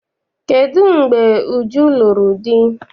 Kedụ mgbe Uju lụrụ di?